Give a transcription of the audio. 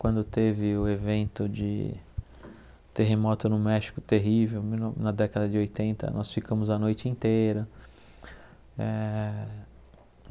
Quando teve o evento de terremoto no México terrível mil no na década de oitenta, nós ficamos a noite inteira. Eh